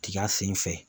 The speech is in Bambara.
Tiga sen fɛ